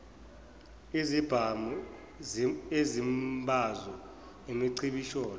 izibhamu izimbazo imicibisholo